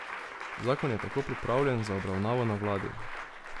Zakon je tako pripravljen za obravnavo na vladi.